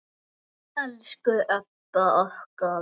Elsku Ebba okkar.